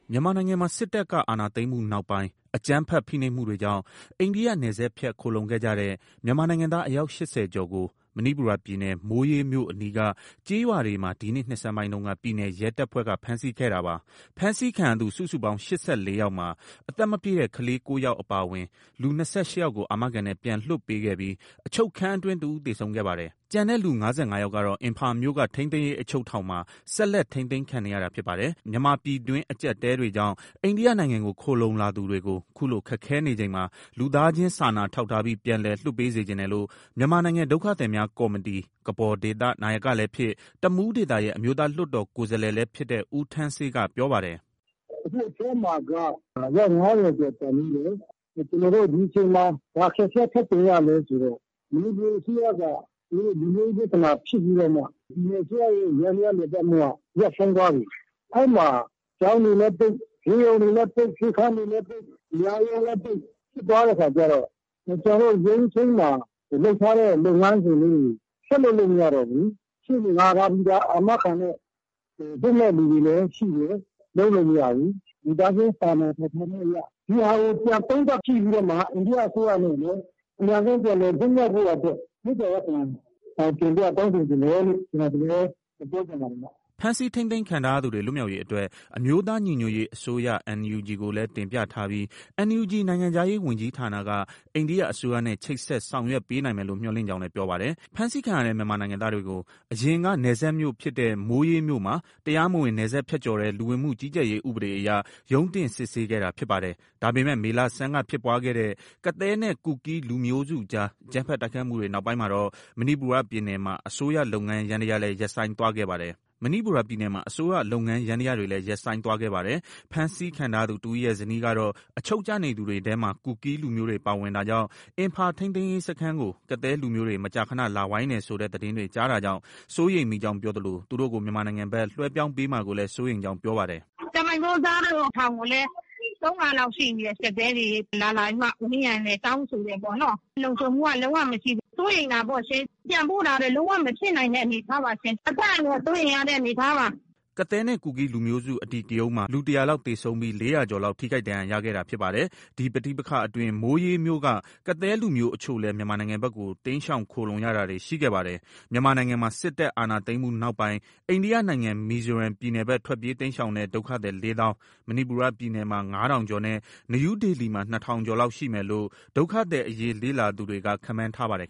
မြန်မာနိုင်ငံမှာ စစ်တပ်က အာဏာသိမ်းမှုနောက်ပိုင်း အကြမ်းဖက် ဖိနှိပ်မှုတွေကြောင့် အိန္ဒိယနယ်စပ်ဖြတ် ခိုလှုံခဲ့ကြတဲ့ မြန်မာနိုင်ငံသား အယောက် ၈၀ ကျော်ကို မဏိပူရပြည်နယ်၊ မိုးရေးမြို့အနီးက ကျေးရွာတွေမှာ ဒီနှစ် နှစ်ဆန်းပိုင်းတုန်းက ပြည်နယ်ရဲတပ်ဖွဲ့က ဖမ်းဆီးခဲ့တာပါ။ ဖမ်းဆီးခံရသူ စုစုပေါင်း ၈၄ ယောက်မှာ အသက်မပြည့်တဲ့ ကလေး ၉ ယောက် အပါအဝင် လူ ၂၈ ယောက်ကို အာမခံနဲ့ ပြန်လွှတ်ပေးခဲ့ပြီး အချုပ်ခန်းအတွင်း တစ်ဦး သေဆုံးခဲ့ပါတယ်။ ကျန်တဲ့ လူ ၅၅ ယောက်ကတော့ အင်ဖာမြို့က ထိန်းသိမ်းရေး အချုပ်ထောင်မှာ ဆက်လက် ထိန်းသိမ်းခံနေရတာ ဖြစ်ပါတယ်။ မြန်မာပြည်တွင်း အကျပ်အတည်းတွေကြောင့် အိန္ဒိယနိုင်ငံကို ခိုလှုံလာသူတွေကို ခုလို ခက်ခဲနေချိန်မှာ လူသားချင်းစာနာထောက်ထားပြီး ပြန်လည်လွှတ်ပေး စေချင်တယ်လို့ မြန်မာနိုင်ငံ ဒုက္ခသည်များကော်မတီ နာယကလည်းဖြစ်၊ တမူးဒေသရဲ့ အမျိုးသား လွှတ်တော်ကိုယ်စားလှယ်လည်း ဖြစ်တဲ့ ဦးထန်းဆေးက ပြောပါတယ်။ “ အခု အထဲမှာက အယောက် ၅၀ကျော်ကျန်သေးတယ်။ ကျနော်တို့ ဒီအချိန်မှာ ဘာအခက်အခဲ ထပ်ကြုံ ရလဲ ဆိုတော့ မဏိပူအစိုးရက သူတို့ လူမျိုးရေးပြဿနာဖြစ်ပြီးတော့မှ ပြည်နယ်အစိုးရရဲ့ ယန္တရားလည်ပတ်မှုက ရပ်ဆိုင်းသွားပြီ။ အဲဒီမှာ ကျောင်းတွေလည်းပိတ်၊ ဆေးရုံတွေလည်းပိတ်၊ ဆေးခန်းတွေလည်းပိတ်၊ တရားရုံးလည်း ပိတ်ဖြစ်သွားတဲ့အခါကျတော့ ကျနော်တို့ ရုံးချိန်းမှာ လုပ်ထားတဲ့ လုပ်ငန်းစဉ်လေးတွေ ဆက်လုပ်လို့ မရတော့ဘူး။ ရှေ့နေငှားထားပြီးသား အာမခံနဲ့ လွတ်မယ့်သူတွေလည်း ရှိတယ်။ လုပ်လို့ မရဘူး။ လူသားချင်းစာနာထောင်ထားမှုအရ ဒီဟာကို ပြန်သုံးသပ်ကြည့်ပြီးတော့မှ အိန္ဒိယအစိုးရအနေနဲ့ အမြန်ဆုံး ပြန်လည်လွတ်မြောက်ဖို့ရာအတွက် မေတ္တာရပ်ခံတင်ပြတောင်းဆိုချင်တယ်လို့ ကျနော် ဒီလိုပဲ ပြောချင်ပါတယ်ဗျ။” ဖမ်းဆီးထိန်းသိမ်းခံထားရသူတွေ လွတ်မြောက်ရေးအတွက် အမျိုးသား ညီညွတ်ရေးအစိုးရ NUG ကိုလည်း တင်ပြထားပြီး NUG နိုင်ငံခြားရေးဝန်ကြီးဌာနက အိန္ဒိယ အစိုးရနဲ့ ချိတ်ဆက် ဆောင်ရွက်ပေးနိုင်မယ်လို့ မျှော်လင့်ကြောင်းလည်း ပြောပါတယ်။ ဖမ်းဆီးခံရတဲ့ မြန်မာနိုင်ငံသားတွေကို အရင်က နယ်စပ်မြို့ဖြစ်တဲ့ မိုးရေးမြို့မှာ တရားမဝင်နယ်စပ်ဖြတ်ကျော်တဲ့ လူဝင်မှုကြီးကြပ်ရေးဥပဒေအရ ရုံးတင် စစ်ဆေးခဲ့တာ ဖြစ်ပါတယ်။ ဒါပေမဲ့ မေလဆန်းကဖြစ်ပွားခဲ့တဲ့ ကသည်းနဲ့ ကူကီးလူမျိုးစုတွေအကြား အကြမ်းဖက်တိုက်ခိုက်မှုတွေ နောက်ပိုင်းမှာတော့ မဏိပူရပြည်နယ်မှာ အစိုးရ လုပ်ငန်းယန္တရားတွေလည်း ရပ်ဆိုင်းသွားခဲ့ပါတယ်။ ဖမ်းဆီးခံထားရသူတစ်ဦးရဲ့ ဇနီးကတော့ အချုပ်ကျနေသူတွေထဲမှာ ကူကီးလူမျိုးတွေ ပါဝင်တာကြောင့် အင်ဖာထိန်းသိမ်းရေးစခန်းကို ကသည်းလူမျိုးတွေ မကြာခန လာဝိုင်းတယ်ဆိုတဲ့ သတင်းတွေ ကြားတာကြောင့် စိုးရိမ်မိကြောင်းပြောသလို သူတို့ကို မြန်မာနိုင်ငံဘက် လွှဲပြောင်းမှာကိုလည်း စိုးရိမ်ကြောင်း ပြောပါတယ်။ “ ကျမ အမျိုးသားတို့ ထောင်ကိုလည်း ၃ခါလောက်ရှိပြီတဲ့။ ကသည်းတွေ လာလာပြီးမှ ဝိုင်းတယ်။ တောင်းဆိုတယ် ပေါ့နော်။ လုံခြုံမှုက လုံး၀ မရှိဘူး။ စိုးရိမ်တာပေါ့ရှင်။ ပြန်ပို့တာလည်း လုံးဝ မဖြစ်နိုင်တဲ့ အနေအထားပါရှင်။ အသက်အန္တရာယ် စိုးရိမ်ရတဲ့အနေအထားပါ။” ကသည်းနဲ့ ကူကီးလူမျိုးစု အဓိကရုဏ်းမှာ လူ ၁၀၀ လောက် သေဆုံးပြီး ၄၀၀ ကျော်လောက် ထိခိုက်ဒဏ်ရာရခဲ့တာ ဖြစ်ပါတယ်။ ဒီပဋိပက္ခအတွင်း မိုးရေးမြို့က ကသည်းလူမျိုးအချို့လည်း မြန်မာနိုင်ငံဘက်ကို တိမ်းရှောင်ခိုလှုံရတာတွေ ရှိခဲ့ပါတယ်။မြန်မာနိုင်ငံမှာ စစ်တပ် အာဏာသိမ်းမှုနောက်ပိုင်း အိန္ဒိယနိုင်ငံ မီဇိုရမ်ပြည်နယ်ဘက် ထွက်ပြေးတိမ်းရှောင်တဲ့ ဒုက္ခသည် ၄ သောင်း၊ မဏိပူရ ပြည်နယ်မှာ ၅ ထောင်ကျော်နဲ့ နယူးဒေလီမှာ ၂ ထောင်ကျော်လောက် ရှိမယ်လို့ ဒုက္ခသည်အရေး လေ့လာသူတွေက ခန့်မှန်းထားပါတယ်